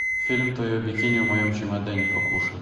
фильм твое бикини в моем чемодане покушай